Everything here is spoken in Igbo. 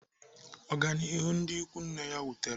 Ọganihu ndị ikwu nne ya wutere m.